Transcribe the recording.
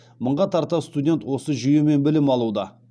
мыңға тарта студент осы жүйемен білім алуда